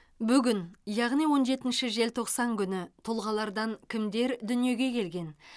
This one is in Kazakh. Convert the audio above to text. бүгін яғни он жетінші желтоқсан күні тұлғалардан кімдер дүниеге келген